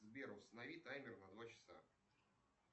сбер установи таймер на два часа